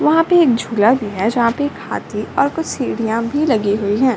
वहाँ पे एक झुला भी है जहाँ पे एक हाथी और कुछ सीढ़िया भी लगी हुई हैं।